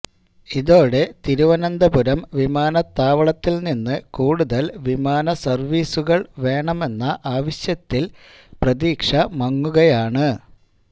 E തോടെ തിരുവന്തപുരം വിമാനത്താവളത്തില് നിന്ന് കൂടുതല് വിമാന സര്വ്വീസുകള് വേണമെന്ന ആവശ്യത്തില് പ്രതീക്ഷ മങ്ങുകയാണ്